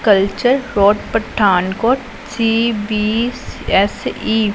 Culture road Pathankot C B S E.